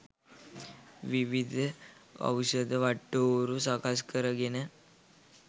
විවිධ ඖෂධ වටිටෝරු සකස් කර ගෙන